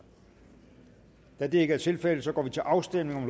da det ikke er tilfældet går vi til afstemning